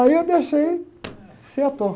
Aí eu deixei de ser ator.